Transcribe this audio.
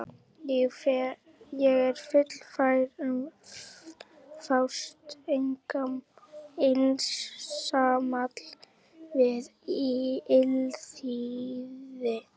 Ég er fullfær um að fást einsamall við illþýði!